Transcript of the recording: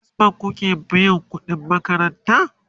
a first bank kuke biyan ƙuɗin makaranta?